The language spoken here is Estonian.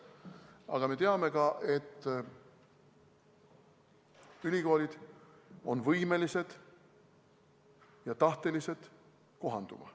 Aga me teame ka, et ülikoolid on võimelised ja tahtelised kohanduma.